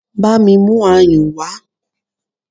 Bámi mú ayùn wá!